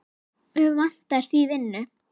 Mig vantar því vinnu.